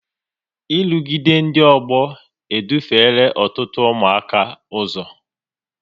nrụgide ndị ọgbọ e dufela ọtụtụ ụmụaka ụzọ